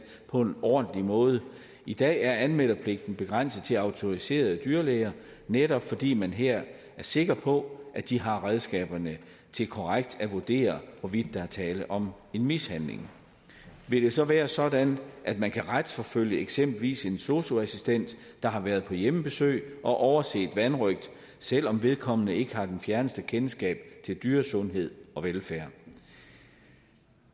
på en ordentlig måde i dag er anmeldepligten begrænset til autoriserede dyrlæger netop fordi man her er sikker på at de har redskaberne til korrekt at vurdere hvorvidt der er tale om en mishandling vil det så være sådan at man kan retsforfølge eksempelvis en sosu assistent der har været på hjemmebesøg og overset vanrøgt selv om vedkommende ikke har det fjerneste kendskab til dyresundhed og velfærd